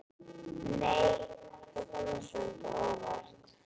Nei! Það kom mér svolítið á óvart!